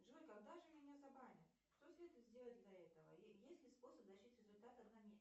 джой когда же меня забанят что следует сделать для этого и есть ли способ